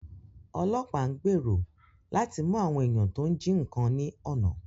Ọlọ́pàá ń gbèrò láti mú àwọn èèyàn tọ́ ń jí nǹkan ní ọ̀nà